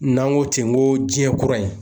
N'an ko ten n ko jiɲɛ kura in